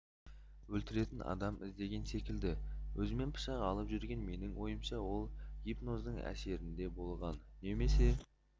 өлтіретін адам іздеген секілді өзімен пышақ алып жүрген менің ойымша ол гипноздың әсерінде болған немесе